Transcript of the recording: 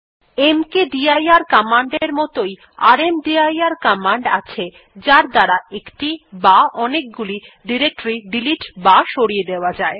মকদির command এর মতই রামদির কমান্ড আছে যার দ্বারা একটি বা অনেকগুলি ডিরেক্টরী ডিলিট বা সরিয়ে দেওয়া যায়